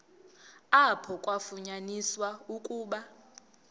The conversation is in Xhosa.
apho kwafunyaniswa ukuba